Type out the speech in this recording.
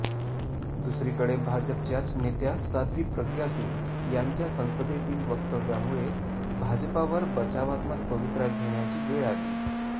दुसरीकडे भाजपच्याच नेत्या साध्वी प्रज्ञा सिंग यांच्या संसदेतील वक्तव्यामुळे भाजपावर बचावात्मक पवित्रा घेण्याची वेळ आली